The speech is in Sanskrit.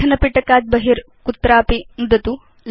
लेखन पिटकात् बहि कुत्रचित् नुदतु